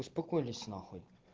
успокоились нахуй